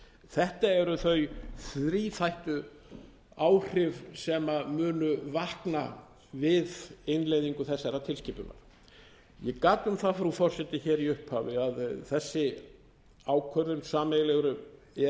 þetta eru þau þríþættu áhrif sem munu vakna við innleiðingu þessarar tilskipunar ég gat um það frú forseti hér í upphafi að þessi ákvörðun sameiginlegu e e s